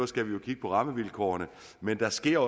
skal vi kigge på rammevilkårene men der sker